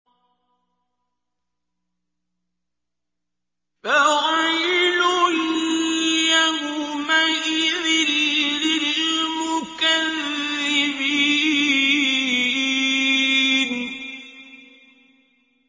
فَوَيْلٌ يَوْمَئِذٍ لِّلْمُكَذِّبِينَ